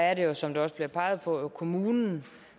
er det jo som der også peges på kommunen